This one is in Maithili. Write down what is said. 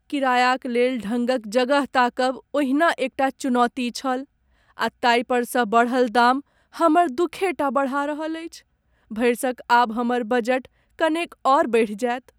किरायाक लेल ढङ्गक जगह ताकब ओहिना एकटा चुनौती छल आ ताहिपरसँ बढ़ल दाम हमर दुखे टा बढ़ा रहल अछि। भरिसक आब हमर बजट कनेक आओर बढ़ि जायत।